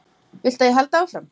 Viltu að ég haldi áfram?